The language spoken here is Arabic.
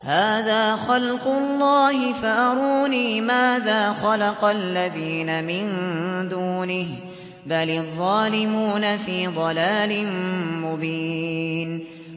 هَٰذَا خَلْقُ اللَّهِ فَأَرُونِي مَاذَا خَلَقَ الَّذِينَ مِن دُونِهِ ۚ بَلِ الظَّالِمُونَ فِي ضَلَالٍ مُّبِينٍ